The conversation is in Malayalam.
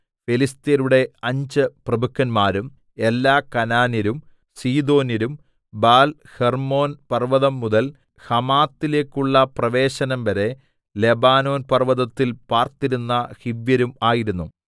ഫെലിസ്ത്യരുടെ അഞ്ച് പ്രഭുക്കന്മാരും എല്ലാ കനാന്യരും സീദോന്യരും ബാൽഹെർമ്മോൻ പർവ്വതംമുതൽ ഹമാത്തിലേക്കുള്ള പ്രവേശനംവരെ ലെബാനോൻ പർവ്വതത്തിൽ പാർത്തിരുന്ന ഹിവ്യരും ആയിരുന്നു